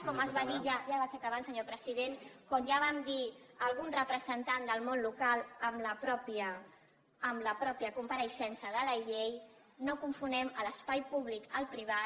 com es va dir ja ja vaig acabant senyor president com ja vam dir a algun representant del món local en la mateixa compareixença de la llei no confonguem l’espai públic amb el privat